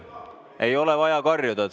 Ei ole vaja karjuda!